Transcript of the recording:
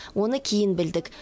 оны кейін білдік